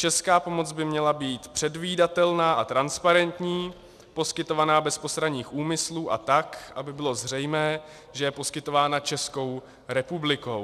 Česká pomoc by měla být předvídatelná a transparentní, poskytovaná bez postranních úmyslů a tak, aby bylo zřejmé, že je poskytována Českou republikou.